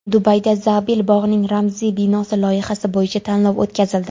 Dubayda Zaabil bog‘ining ramziy binosi loyihasi bo‘yicha tanlov o‘tkazildi.